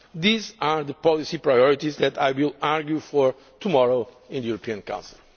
These are the policy priorities that I will argue for tomorrow in the European Council.